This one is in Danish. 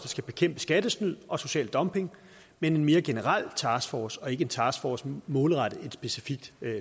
skal bekæmpe skattesnyd og social dumping men en mere generel taskforce og ikke en taskforce målrettet et specifikt